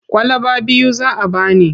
Kwalaba biyu za a ba ni.